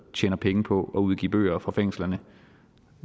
og tjener penge på at udgive bøger fra fængslerne